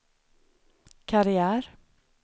karriär